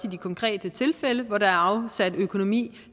i de konkrete tilfælde hvor der afsat økonomi